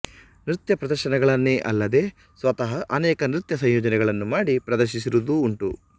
ನೃತ್ಯ ಪ್ರದರ್ಶನಗಳನ್ನೇ ಅಲ್ಲದೆ ಸ್ವತಃ ಅನೇಕ ನೃತ್ಯ ಸಂಯೋಜನೆಗಳನ್ನು ಮಾಡಿ ಪ್ರದರ್ಶಿಸಿರುವುದೂ ಉಂಟು